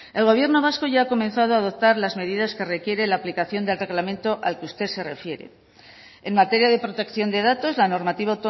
el gobierno vasco ya ha comenzado a adoptar las medidas que requiere la aplicación del reglamento al que usted se refiere en materia de protección de datos la normativa